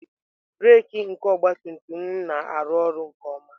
Breek nke ọgabtumtum m na-arụ ọrụ nke ọma.